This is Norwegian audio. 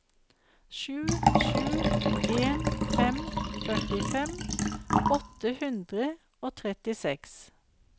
sju sju en fem førtifem åtte hundre og trettiseks